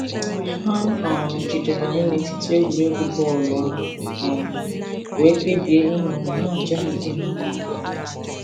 Ha um jidere anyị n'etiti egwuregwu vollybọọlụ um wee kpebie ịnọ ma na-aja ha ike n'akụkụ.